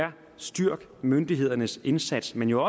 styrke myndighedernes indsats men det